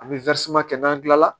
An bɛ kɛ n'an tilala